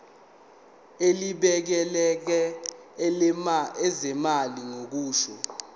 elibhekele ezezimali kusho